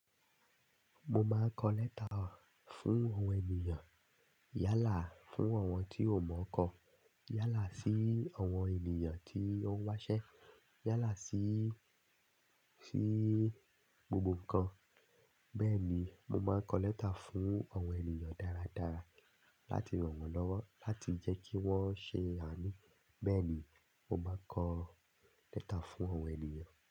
Mo máa ń kọ lẹ́tà fún àwọn ènìyàn. Yálà fún àwọn tí ò mọ̀ ọ́n kọ. Yálà sí àwọn ènìyàn tí ó ń wáṣẹ́. Yálà sí, sí gbogbo ǹkan. Bẹ́ẹ̀ ni, mo máa ń kọ lẹ́tà fún àwọn ènìyàn dáradára láti ràn wọ́n lọ́wọ́, láti jẹ́ kí wọ́n ṣe àmì. Bẹ́ẹ̀ ni, mo máa ń kọ lẹ́tà fún àwọn ènìyàn.